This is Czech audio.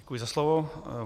Děkuji za slovo.